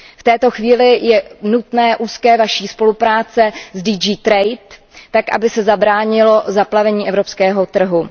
V této chvíli je nutná vaše úzká spolupráce s DG TRADE tak, aby se zabránilo zaplavení evropského trhu.